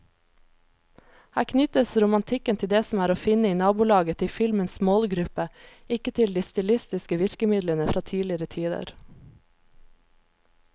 Her knyttes romantikken til det som er å finne i nabolaget til filmens målgruppe, ikke til de stilistiske virkemidlene fra tidligere tider.